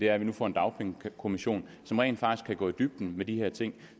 er at vi nu får en dagpengekommission som rent faktisk kan gå i dybden med de her ting